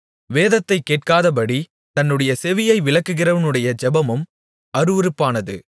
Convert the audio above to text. வேதத்தைக் கேட்காதபடி தன்னுடைய செவியை விலக்குகிறவனுடைய ஜெபமும் அருவருப்பானது